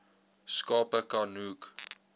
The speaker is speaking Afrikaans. skape ka nook